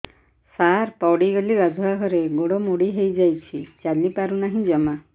ସାର ପଡ଼ିଗଲି ଗାଧୁଆଘରେ ଗୋଡ ମୋଡି ହେଇଯାଇଛି ଚାଲିପାରୁ ନାହିଁ ଜମା